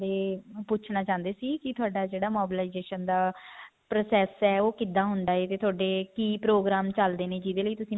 ਬਾਰੇ ਜੇ ਪੁੱਛਣਾ ਚਾਹੁੰਦੀ ਸੀ ਕੀ ਥੋੜਾ ਜਿਹੜਾ mobilization ਦਾ process ਹੈ ਉਹ ਕਿੱਦਾਂ ਹੁੰਦਾ ਹੈ ਵੀ ਥੋਡੇ ਕੀ ਪ੍ਰੋਗਰਾਮ ਚੱਲਦੇ ਨੇ ਜਿਹਦੇ ਲਈ